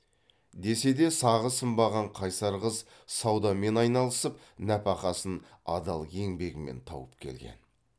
десе де сағы сынбаған қайсар қыз саудамен айналысып нәпақасын адал еңбегімен тауып келген